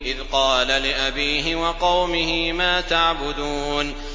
إِذْ قَالَ لِأَبِيهِ وَقَوْمِهِ مَا تَعْبُدُونَ